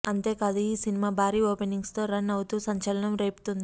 అంతేకాదు ఈ సినిమా భారీ ఓపెనింగ్స్ తో రన్ అవుతూ సంచలనం రేపుతుంది